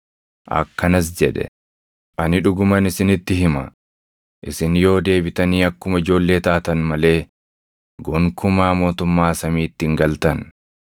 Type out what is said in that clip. Akkanas jedhe: “Ani dhuguman isinitti hima; isin yoo deebitanii akkuma ijoollee taatan malee gonkumaa mootummaa samiitti hin galtan.